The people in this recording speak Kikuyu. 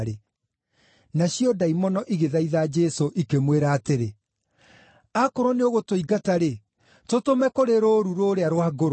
Nacio ndaimono igĩthaitha Jesũ, ikĩmwĩra atĩrĩ, “Akorwo nĩũgũtũingata-rĩ, tũtũme kũrĩ rũũru rũũrĩa rwa ngũrwe.”